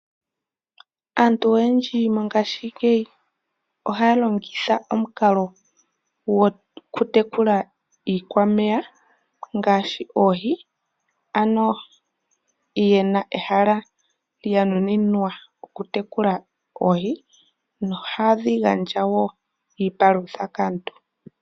Aantu oyendji mongashingeyi ohaya longitha omukalo gokutekula iikwameya ngaashi oohi, ano yena ehala lya nuninwa okutekula oohi, nohadhi gandja wo iipalutha kaantu.